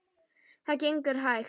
Það gengur hægt.